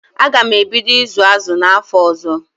Aga m ebido ịzụ azụ n'afọ ọzọ.